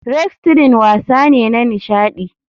Wrestling wasa ne na nishadi.